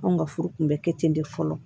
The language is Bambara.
Anw ka furu kun bɛ kɛ ten de fɔlɔ